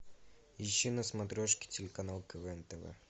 ищи на смотрешке телеканал квн тв